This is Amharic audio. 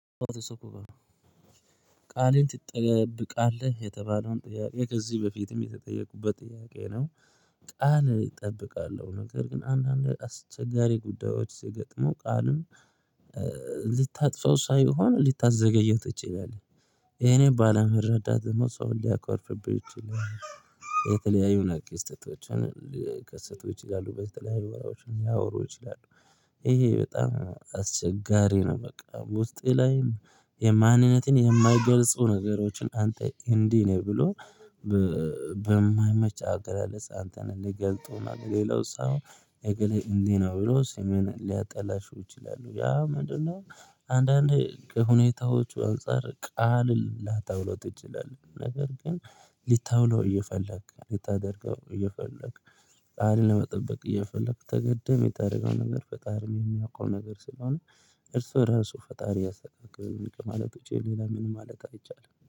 ቃልህን ትጠብቃለህ የተባለውን ጥያቄ ከዚህ በፊትም የተጠየቁበት ጥያቄ ነው። ቃል እጠብቃለሁ ነገር ግን አንዳንድ አስቸጋሪ ጉዳዮች ሲገጥሙ ቃልም ልታጥፋው ሳይሆን ልታዘገየው ትችላለህ። ያኔ ባለመረዳት ደግሞ ሰው ሊያኳርፍብህ ይችላል። የተለያዩ ነገር ክስተቶችን ሊከስቱ ይችላሉ በተለያዩ ወሬዎችን ሊያወሩ ይችላሉ። ይሄ በጣም አስቸጋሪ ነው። በቃ ውስጤ ላይም የማንነትን የማይገልጹ ነገሮችን አንተ እንዲህ ነው ብሎ በማይመች አገላለጽ አንተን እሚገልጡ ሌላው ሰው እግሌ እንዴ ነው ብሎ ስምህን ሊያጠላሽው ይችላሉ። ያ ምንድነው? አንዳንዴ ከሁኔታዎቹ አንፃር ቃል ላታውለው ትችላህ። ነገር ግን ሊታውለው እየፈለክ ሊታደርገው እየፈለክ ቃልን ለመጠበቅ እየፈለክ ተገደህ የምታረገውን ነገር ፈጣርም የሚያዉቀው ነገር ስለሆነ እርሱ ራሱ ፈጣሪ ያሰተካክል ከማለት ዉጪ ሌላ ምን ማለት አይቻልም